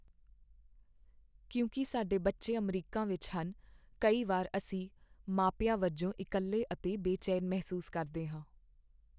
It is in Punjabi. ਕਿਉਂਕਿ ਸਾਡੇ ਬੱਚੇ ਅਮਰੀਕਾ ਵਿੱਚ ਹਨ, ਕਈ ਵਾਰ ਅਸੀਂ ਮਾਪਿਆਂ ਵਜੋਂ ਇਕੱਲੇ ਅਤੇ ਬੇਚੈਨ ਮਹਿਸੂਸ ਕਰਦੇ ਹਾਂ।